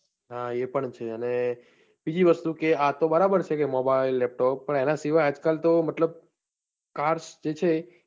હા એ પણ છે અને બીજી વસ્તુ કે આતો બરાબર છે કે mobile laptop પણ આના સિવાય આજકાલ તો મતલબ cars જે છે